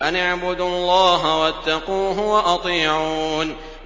أَنِ اعْبُدُوا اللَّهَ وَاتَّقُوهُ وَأَطِيعُونِ